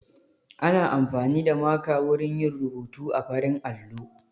Ana amfani da maka wurin yin rubuta a farin allo